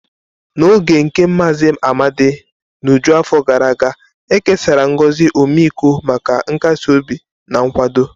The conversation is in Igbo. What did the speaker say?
N'oge nke Mazi Amadi n'uju afọ gara aga, e kesara ngozi ọmịiko maka nkasi obi na nkwado.